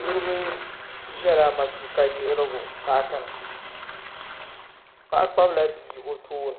niriba ʒela matuuka yiɣirigu paaki ni paɣa kpabi la bia o tooni